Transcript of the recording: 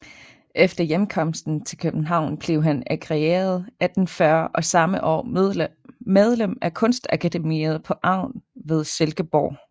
Efter hjemkomsten til København blev han agreeret 1840 og samme år medlem af Kunstakademiet på Egn ved Silkeborg